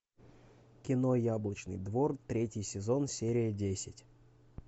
кино яблочный двор третий сезон серия десять